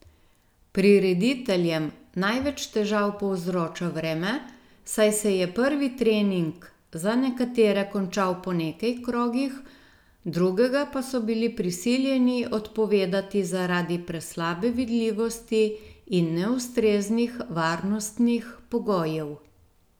Prirediteljem največ težav povzroča vreme, saj se je prvi trening za nekatere končal po nekaj krogih, drugega pa so bili prisiljeni odpovedati zaradi preslabe vidljivosti in neustreznih varnostnih pogojev.